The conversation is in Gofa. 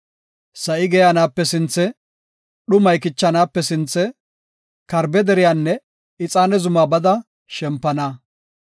Sa7i geeyanaape sinthe, dhumay kichanaape sinthe, karbe deriyanne ixaane zuma bada shempana.